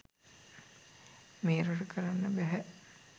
මේ රට කරන්න බැහැ.